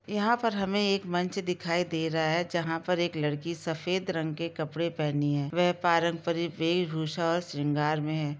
यहाँ पर हमे एक मंच दिखाई दे रहा है जहाँ पे एक लड़की सफ़ेद रंग के कपड़े पहनी है वह पारंपरिक वेशभूषा और सिंगार में है|